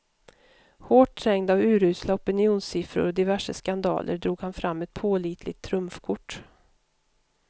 Hårt trängd av urusla opinionssiffror och diverse skandaler drog han fram ett pålitligt trumfkort.